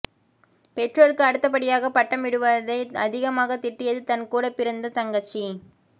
பெற்றோருக்கு அடுத்தபடியாக பட்டம் விடுவதை அதிகமாக திட்டியது தன் கூட பிறந்த தங்கச்சி